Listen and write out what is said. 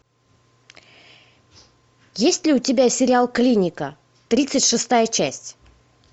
есть ли у тебя сериал клиника тридцать шестая часть